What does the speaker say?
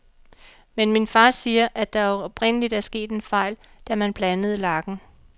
Men min far siger, at der oprindeligt er sket en fejl, da man blandede lakken.